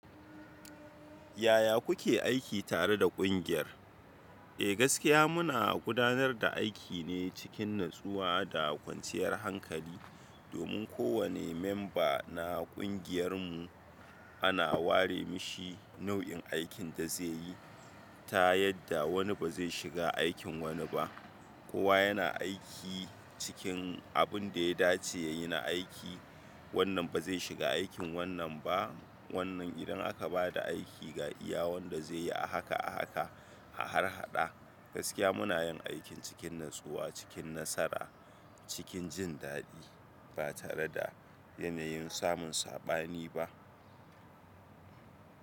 Yaya kuke aiki tare da ƙungiyar? Eh gaskiya muna gudanar da aiki ne cikin natsuwa da kwanciyar hankali domin kowane member na ƙungiyar mu ana ware mishi nau'in aikin da zai yi ta yadda wani ba zai shiga aikin wani ba. Kowa yana aiki cikin abun da ya dace ya yi na aiki, wannan ba zai shiga aikin wannan ba, wannan idan aka ba da aiki ga iya wanda zai yi a haka a haka a harhaɗa. Gaskiya muna yin aikin cikin natsuwa, cikin nasara, cikin jin daɗi ba tare da yanayin samun saɓani ba.